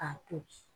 K'a to ten